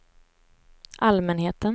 allmänheten